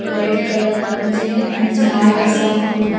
रेड कलरचे आणि झाड असा खुब.